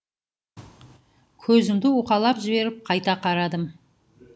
көзімді уқалап жіберіп қайта қарадым